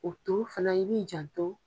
O to fana i b'i jan to.